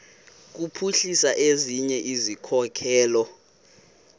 kuphuhlisa ezinye izikhokelo